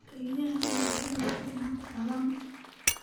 Kaaliyaha ayaa sidoo kale hadda daalan